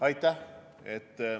Aitäh!